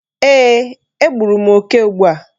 Eeh, egburu m oke ugbu a.